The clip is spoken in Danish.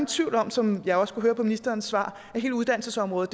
tvivl om som jeg også kunne høre på ministerens svar at hele uddannelsesområdet